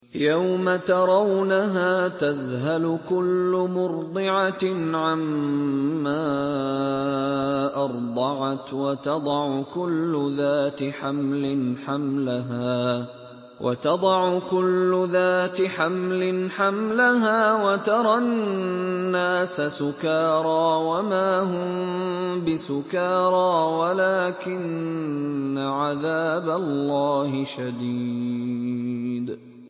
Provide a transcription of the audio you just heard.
يَوْمَ تَرَوْنَهَا تَذْهَلُ كُلُّ مُرْضِعَةٍ عَمَّا أَرْضَعَتْ وَتَضَعُ كُلُّ ذَاتِ حَمْلٍ حَمْلَهَا وَتَرَى النَّاسَ سُكَارَىٰ وَمَا هُم بِسُكَارَىٰ وَلَٰكِنَّ عَذَابَ اللَّهِ شَدِيدٌ